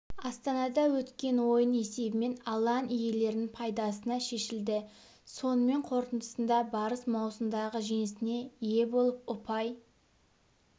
астанада өткен ойын есебімен алаң иелерінің пайдасына шешілді сонымен қорытындысында барыс маусымдағы жеңісіне ие болып ұпай